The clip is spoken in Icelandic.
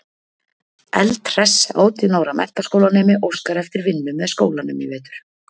Eldhress átján ára menntaskólanemi óskar eftir vinnu með skólanum í vetur.